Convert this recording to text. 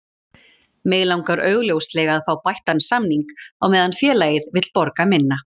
Mig langar augljóslega að fá bættan samning á meðan félagið vill borga minna.